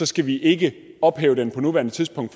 skal vi ikke ophæve den på nuværende tidspunkt